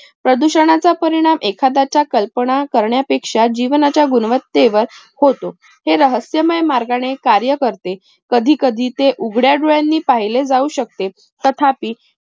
प्रदूषणाचा परिणाम एखादाच्या कल्पना करण्यापेक्षा जीवनाच्या गुणवत्तेवर होतो हे रहस्यमय मार्गाने कार्य करते कधी कधी ते उघड्या डोळयांनी पाहिले जाऊ शकते तथापि